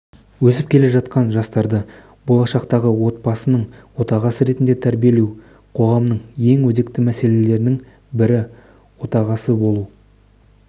өсіп келе жатқан жастарды болашақтағы отбасының отағасы ретінде тәрбиелеу қоғамның ең өзекті мәселелерінің бірі отағасы болу